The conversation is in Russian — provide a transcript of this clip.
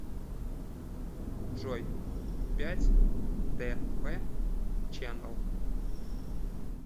джой пять тэ вэ ченэл